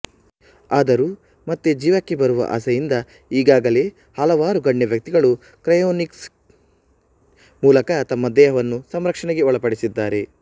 ಆದರೂ ಮತ್ತೆ ಜೀವಕ್ಕೆ ಬರುವ ಆಸೆಯಿಂದ ಈಗಾಗಲೇ ಹಲವಾರು ಗಣ್ಯ ವ್ಯಕ್ತಿಗಳು ಕ್ರಯೋನಿಕ್ಸ್ ಮೂಲಕ ತಮ್ಮ್ಮ ದೇಹವನ್ನು ಸಂರಕ್ಷಣೆಗೆ ಒಳಪಡಿಸಿದ್ದಾರೆ